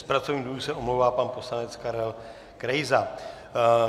Z pracovních důvodů se omlouvá pan poslanec Karel Krejza.